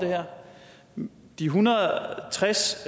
de en hundrede og tres